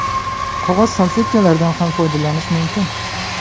Qog‘oz salfetkalardan ham foydalanish mumkin.